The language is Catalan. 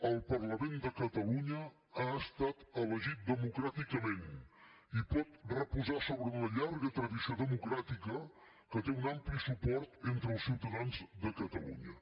el parlament de catalunya ha estat elegit democràticament i pot reposar sobre una llarga tradició democràtica que té un ampli suport entre els ciutadans de catalunya